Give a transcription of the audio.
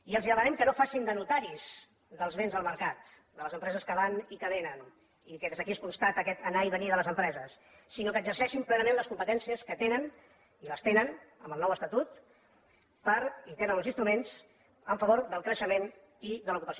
i els demanem que no facin de notaris dels vents del mercat de les empreses que van i que vénen i que des d’aquí es constata aquest anar i venir de les empreses sinó que exerceixin plenament les competències que tenen i les tenen amb el nou estatut i en tenen els instruments en favor del creixement i de l’ocupació